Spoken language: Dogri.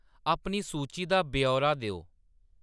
अपनी सूची दा ब्यौरा देओ